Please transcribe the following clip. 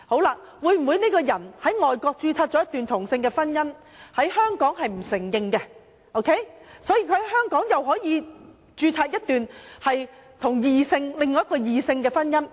若某人在外國註冊了一段同性婚姻，但該婚姻在香港不獲承認，他可否在香港與一名異性註冊另一段婚姻？